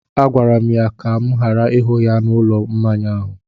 Agwara m ya ka m ghara ịhụ ya n’ụlọ mmanya ahụ!